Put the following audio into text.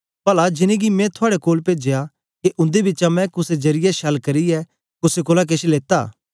पला जिनेंगी मैं थुआड़े कोल पेजया के उन्दे बिचा मैं कुसे जरीयै छल करियै कुसे कोलां केछ लेता